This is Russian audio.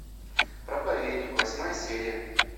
проповедник восьмая серия